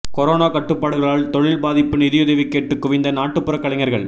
corona கட்டுப்பாடுகளால் தொழில் பாதிப்பு நிதியுதவி கேட்டு குவிந்த நாட்டுப்புற கலைஞர்கள்